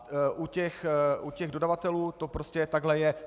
U těch dodavatelů to prostě takhle je.